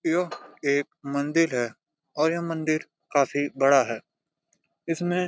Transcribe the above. यह एक मंदिर है और यह मंदिर काफी बड़ा है इसमे।